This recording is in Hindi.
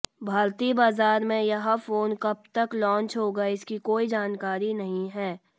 भारतीय बाजार में यह फोन कब तक लॉन्च होगा इसकी कोई जानकारी नहीं है